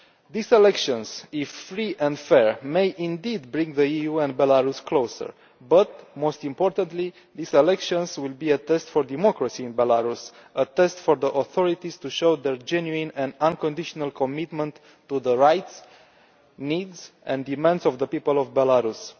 These elections, if free and fair, may indeed bring the EU and Belarus closer. But, most importantly, these elections will be a test for democracy in Belarus, a test for the authorities to show their genuine and unconditional commitment to the rights, needs and demands of the people of Belarus.